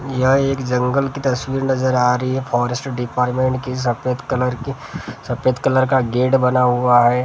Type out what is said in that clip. यहाँ एक जंगल की तस्वीर नजर आ रही है। फॉरेस्ट डिपार्टमेंट का सफेद रंग का गेट बना हुआ है औ --